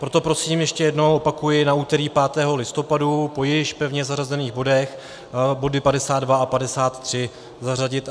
Proto prosím ještě jednou, opakuji, na úterý 5. listopadu po již pevně zařazených bodech body 52 a 53, zařadit.